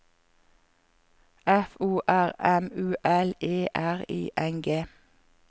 F O R M U L E R I N G